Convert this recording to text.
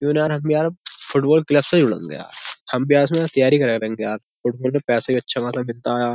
क्यूँ ना यार हम भी यार फुटबॉल क्लब से ही यार। हम भी यार उसमें तैयारी करें फुटबॉल में पैसे भी अच्छा खासा मिलता आया।